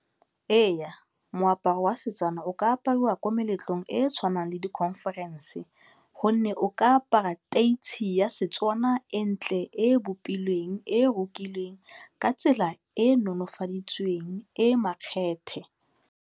Eya, moaparo wa Setswana o ka apariwa ko meletlong e e tshwanang le di-conference gonne o ka apara ya Setswana e e ntle e e bopilweng, e e rekilweng ka tsela e e nolofaditsweng, e e makgethe.